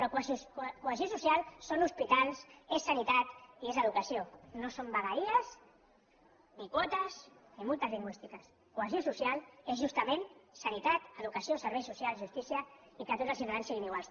però cohesió social són hospitals és sanitat i és educació no són vegueries ni quotes ni multes lingüístiques cohesió social és justament sanitat educació serveis socials justícia i que tots els ciutadans siguin iguals